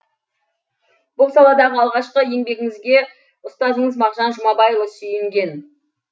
бұл саладағы алғашқы еңбегіңізге ұстазыңыз мағжан жұмабайұлы сүйінген